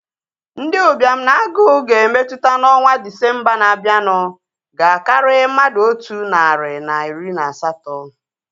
Ndị ụbịam na agụụ ga-emetụta n'ọnwa Disembaa na-abianu ga-akari mmadụ otu nari na iri na asatọ